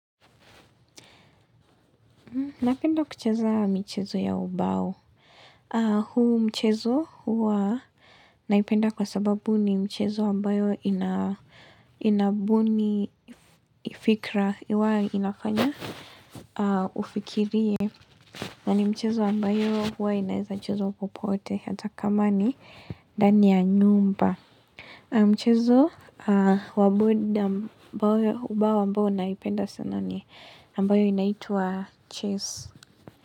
Napenda kucheza michezo ya ubao. Huu mchezo huwa naipenda kwa sababu ni mchezo ambayo inabuni fikra. Iwa inafanya ufikirie. Na ni mchezo ambayo huwa inaweza kuchezwa popote. Ata kama ni ndani ya nyumba. Mchezo wa bao ambayo naipenda sana ni ambayo inaitwa cheese.